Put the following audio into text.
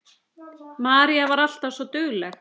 Marín var alltaf svo dugleg.